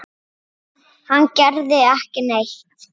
Hann gerði ekki neitt.